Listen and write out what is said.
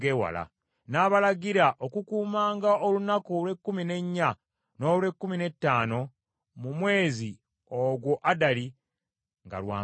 ng’abalagira okukuumanga olunaku olw’ekkumi n’ennya n’olw’ekkumi n’ettaano mu mwezi ogwa Adali nga lwa mbaga,